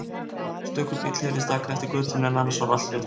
Stöku bíll heyrðist aka eftir götunni en annars var allt hljótt.